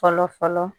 Fɔlɔ fɔlɔ